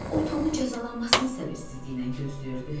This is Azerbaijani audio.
O Tomun cəzalanmasını səbirsizliklə gözləyirdi.